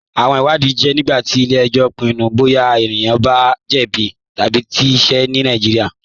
Awọn ìwàdìí jẹ nígbàtí ilẹ̀-ẹ̀jọ̀ pinnu bọya ẹ̀nìkàn bá jẹ̀bí tabi kí ìṣẹ̀ ní Nàìjíríà.